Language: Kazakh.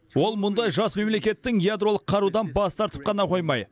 ол мұндай жас мемлекеттің ядролық қарудан бас тартып қана қоймай